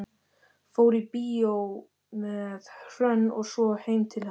Fór í bíó með Hrönn og svo heim til hennar.